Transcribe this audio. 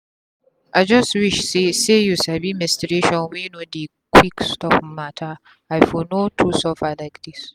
i just wish say say u sabi menstruation wey no dey quick stop matteri for no too suffer like this.